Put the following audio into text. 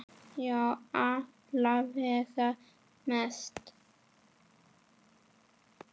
Já, alla vega mest.